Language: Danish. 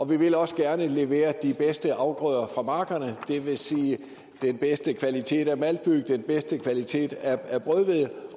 vil også gerne levere de bedste afgrøder fra markerne det vil sige den bedste kvalitet af maltbyg den bedste kvalitet af brødhvede